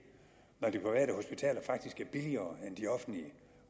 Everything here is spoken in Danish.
når de private hospitaler faktisk er billigere end de offentlige